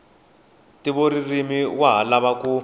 ntivoririmi wa ha lava ku